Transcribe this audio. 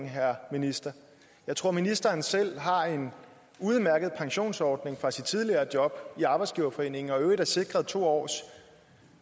herre minister jeg tror ministeren selv har en udmærket pensionsordning fra sit tidligere job i danmarks arbejdsgiverforening og i øvrigt er sikret to års